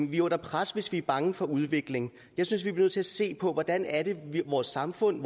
vi er under pres hvis vi er bange for udviklingen jeg synes vi bliver nødt til at se på vores samfund